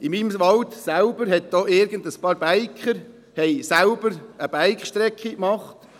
In meinem Wald haben auch ein paar Biker selber eine Bike-Strecke gemacht.